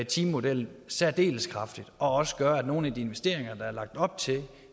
timemodellen særdeles kraftigt og også gøre at nogle af de investeringer der er lagt op til